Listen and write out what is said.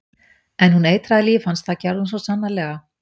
En hún eitraði líf hans, það gerði hún svo sannarlega.